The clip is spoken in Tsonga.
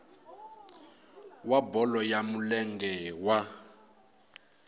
wa bolo ya milenge wa